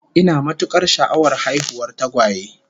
Ina matukar sha'awar haihuwar tagwaye